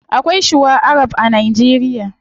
Akwai shuwa arab a nigeria